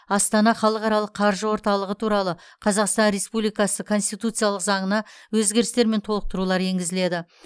астана халықаралық қаржы орталығы туралы қазақстан республикасы конституциялық заңына өзгерістер мен толықтырулар енгізіледі